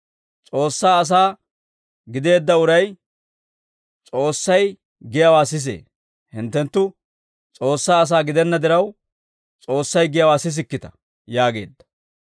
S'oossaa asaa gideedda uray S'oossay giyaawaa sisee; hinttenttu S'oossaa asaa gidenna diraw, S'oossay giyaawaa sisikkita» yaageedda.